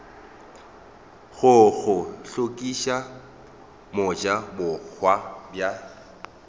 go go hlokiša mojabohwa bja